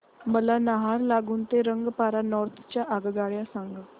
मला नाहरलागुन ते रंगपारा नॉर्थ च्या आगगाड्या सांगा